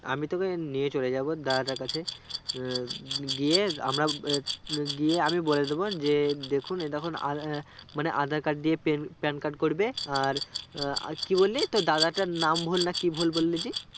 আমি তোকে নিয়ে চলে যাবো দাদাটার কাছে আহ গিয়ে গিয়ে আমি বলে দেব যে দেখুন এ দেখুন আআমানে aadhar card দিয়ে pen PANcard করবে আর আর কি বললি তোর দাদার টার নাম ভুল না কি ভুল বললি জি?